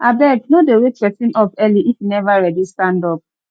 abeg no dey wake pesin up early if e never ready stand up